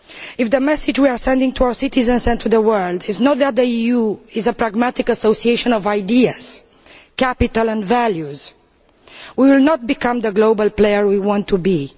If the message we are sending to our citizens and to the world is not that the EU is a pragmatic association of ideas, capital and values, we will not become the global player we want to be.